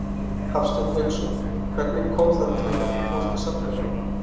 Hafsteinn Hauksson: Hvernig kom það til að þú fórst að safna þeim?